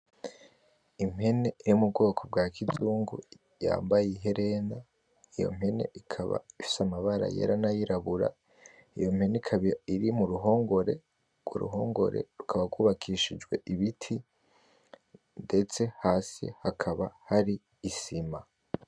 Impene yo mu bwoko bwa kizungu yambaye iherena, iyo mpene ikaba ifise amabara yera, nayirabura. Iyo mpene ikaba iri muruhongore ,urwo ruhongore rukaba rwubakishijwe ibiti, ndetse hasi hakaba hari isima.